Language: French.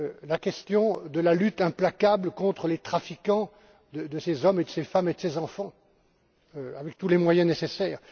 la question de la lutte implacable contre les trafiquants de ces hommes, de ces femmes et de ces enfants avec tous les moyens nécessaires